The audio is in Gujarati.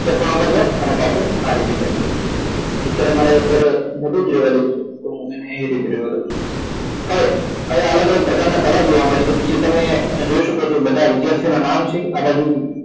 પાછું ખૂણા પર જાવ અને પાછું આ રીતે ખેચી લો અત્યારે મારે અત્યારે મોટું જ રેવા દવ છું તો એને એ રીતે રેવ દવ છું હવે હવે અલગ અલગ પ્રકાર ના કલર જોવા મળે છે નીચે તમે જોય શકો છો બધા વિદ્યાર્થીઓ ના નામ છે આ બાજુ